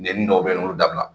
Nɛnini dɔw bɛ yen nɔ, olu dabila.